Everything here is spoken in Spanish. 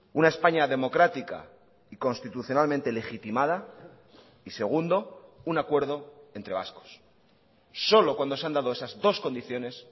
una españa democrática y constitucionalmente legitimada y segundo un acuerdo entre vascos solo cuando se han dado esas dos condiciones